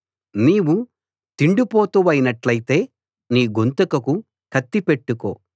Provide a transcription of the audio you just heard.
నీవు తిండిపోతువైనట్టయితే నీ గొంతుకకు కత్తి పెట్టుకో